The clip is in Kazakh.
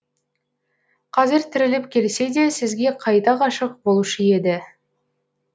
қазір тіріліп келсе де сізге қайта ғашық болушы еді